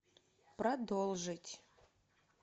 продолжить